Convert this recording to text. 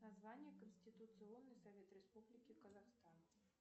название конституционный совет республики казахстан